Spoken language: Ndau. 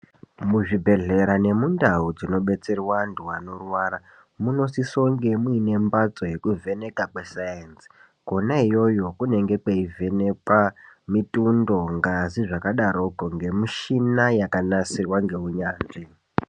Muzvibhehlera nemundau dzinobetserwa antu anorwara munosisonge muine mbatso yekuvhenekwa kwesainzi. Kona iyoyo kunenge kweivhenekwa mitundo, ngazi zvakadaroko ngemishina yakanasirwa ngeunyanzvi.